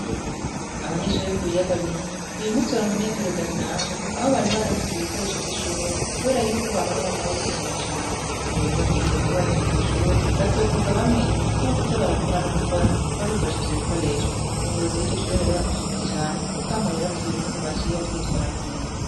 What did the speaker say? Abanyeshure bo ku biyaga binini, uyu musi wari umunezero udasanzwe aho bari baronkejww ibikoresho vy'ishure kubera yuko bahora bama babikenera cane. Ubu rero bigiye kuborohera kwishure bazokwiga bamenya kuko bazazo barakora no gukora babikoresha ivyo bikoresho. Umuyobozi w'iryo shuri rero baramushimiye cane kuko akamo yabatuye ukuntu baciye bavyitwaramwo neza.